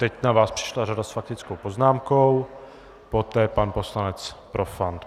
Teď na vás přišla řada s faktickou poznámkou, poté pan poslanec Profant.